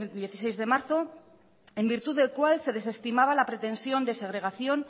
dieciséis de marzo en virtud del cual se desestimaba la pretensión de segregación